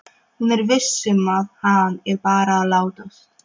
Hún er viss um að hann er bara að látast.